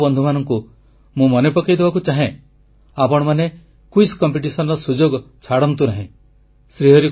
ମୋର ଯୁବ ବନ୍ଧୁମାନଙ୍କୁ ମୁଁ ମନେ ପକାଇଦେବାକୁ ଚାହେଁ ଆପଣମାନେ ସାଧାରଣ ଜ୍ଞାନ ପ୍ରତିଯୋଗିତାରେ ଭାଗନେବାର ସୁଯୋଗ ଛାଡନ୍ତୁ ନାହିଁ